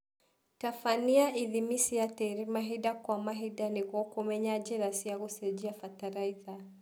Tabania ithimi cia tĩri mahinda kwa mahinda nĩguo kũmenya njĩra cia gũcenjia bataraitha